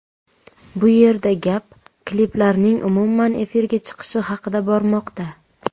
Bu yerda gap kliplarning umuman efirga chiqishi haqida bormoqda.